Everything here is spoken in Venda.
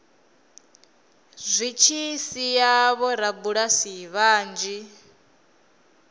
zwi tshi sia vhorabulasi vhanzhi